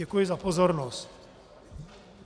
Děkuji za pozornost.